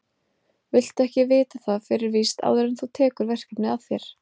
Viltu ekki vita það fyrir víst áður en þú tekur verkefnið að þér?